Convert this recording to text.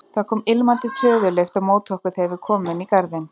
Það kom ilmandi töðulykt á móti okkur þegar við komum inn í garðinn.